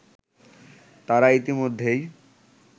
তারা ইতিমধ্যেই